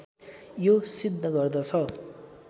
यो सिद्ध गर्दछ